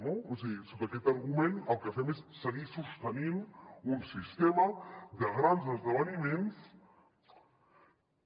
o sigui sota aquest argument el que fem és seguir sostenint un sistema de grans esdeveniments que